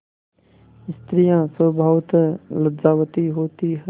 स्त्रियॉँ स्वभावतः लज्जावती होती हैं